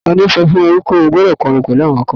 tani o so fun e pe mo gbọdọ kọrin pẹlu àwọn akọrin